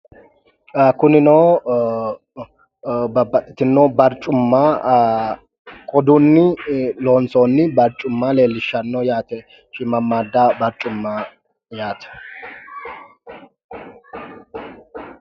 Kunino babbaxxitino barccumma qodunni loonsoonni barccumma leellishshanno yaate. shiimamaadda barccumma yaate.